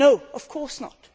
No, of course not.